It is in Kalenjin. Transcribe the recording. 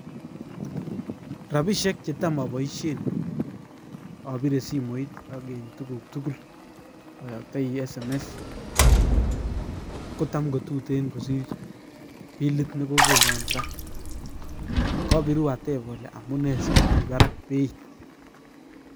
Rapisiek chetam aboisien abire simoit ak en tuguk tugul, ayaktai sms[cs kotam kotuten kosir bilit ne kogonan ra. Kabiru atep ale amune sigomi barak beit?